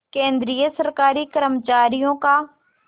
केंद्रीय सरकारी कर्मचारियों का